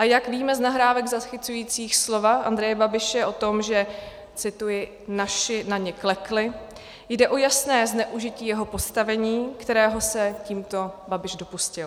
A jak víme z nahrávek zachycujících slova Andreje Babiše o tom, že - cituji: "naši na ně klekli", jde o jasné zneužití jeho postavení, kterého se tímto Babiš dopustil.